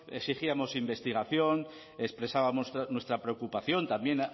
exigíamos investigación expresábamos nuestra preocupación también